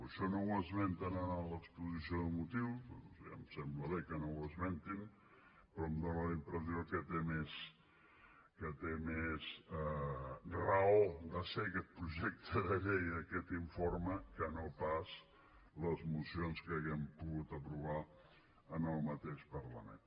això no ho esmenten en l’exposició de motius ja em sembla bé que no ho esmentin però em fa la impressió que té més raó de ser aquest projecte de llei i aquest informe que no pas les mocions que haguem pogut aprovar en el mateix parlament